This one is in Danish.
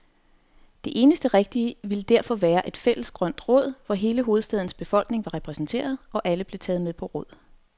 Det eneste rigtige ville derfor være et fælles grønt råd, hvor hele hovedstadens befolkning var repræsenteret, og alle blev taget med på råd.